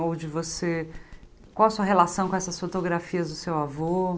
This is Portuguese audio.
Onde você qual a sua relação com essas fotografias do seu avô?